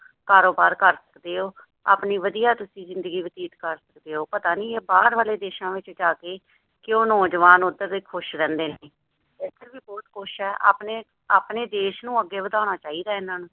ਕਾਰੋਬਾਰ ਕਰ ਸਕਦੇ ਹੋ ਆਪਣੀ ਵਧੀਆ ਤੁਸੀ ਜਿੰਦਗੀ ਬਤੀਤ ਕਰ ਸਕਦੇ ਹੋ। ਪਤਾ ਨਹੀ ਇਹ ਬਾਹਰ ਵਾਲੇ ਦੇਸ਼ਾ ਵਿੱਚ ਜਾ ਕੇ ਕਿਉਂ ਨੌਜਵਾਨ ਉੱਧਰ ਦੇ ਖੁਸ਼ ਰਹਿੰਦੇ ਨੇ। ਇੱਧਰ ਵੀ ਬਹੁੱਤ ਕੁੱਝ ਆ ਆਪਣੇ ਦੇਸ਼ ਨੂੰ ਅੱਗੇ ਵਧਾਉਣਾ ਚਾਹੀਦਾ ਇਹਨਾਂ ਨੂੰ